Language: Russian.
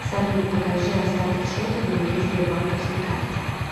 салют покажи остаток счета на моей сбербанковской карте